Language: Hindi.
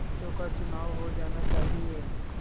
पंचों का चुनाव हो जाना चाहिए